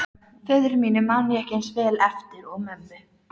Og enn lustu Hólamenn upp sigurópi.